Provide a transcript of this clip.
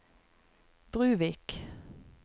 Bruvik